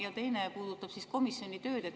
Teine puudutab komisjoni tööd.